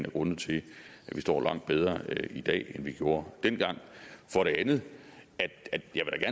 af grundene til at vi står langt bedre i dag end vi gjorde dengang for det andet